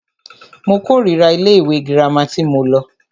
Mo kòrira ilé ìwé gírámà tí mo lọ.